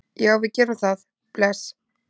Já, við gerum það. Bless.